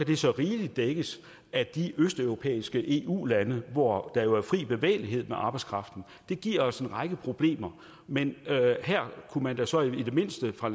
det så rigeligt dækkes af de østeuropæiske eu lande hvor der jo er fri bevægelighed for arbejdskraften det giver os en række problemer men her kunne man da så i det mindste fra